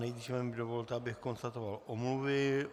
Nejdříve mi dovolte, abych konstatoval omluvy.